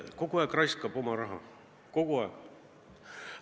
Kogu aeg omavalitsus kulutab oma raha – kogu aeg!